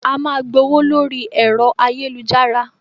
A máa gbowó lórí ẹ̀rọ ayélujára.